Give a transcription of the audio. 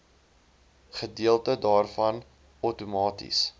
gedeelte daarvan outomaties